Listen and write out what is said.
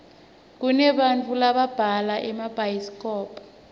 kunebantau lababhala emabhayisikobho